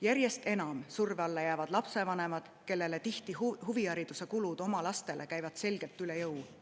Järjest enam surve alla jäävad lapsevanemad, kellele nende laste huvihariduse kulud käivad tihti selgelt üle jõu.